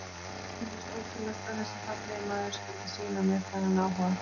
Mér fannst ótrúlegt að þessi fallegi maður skyldi sýna mér þennan áhuga.